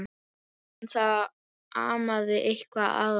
En það amaði eitthvað að honum.